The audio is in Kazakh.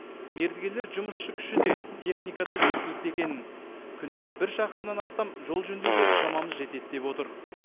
мердігерлер жұмысшы күші де техника да жеткілікті екенін күніне бір шақырымнан астам жол жөндеуге шамамыз жетеді деп отыр